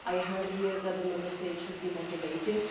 I heard here that the Member States should be motivated.